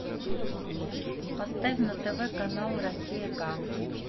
поставь на тв канал россия к